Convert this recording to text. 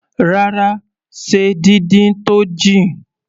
Rárá, ṣe díndín tó jìn.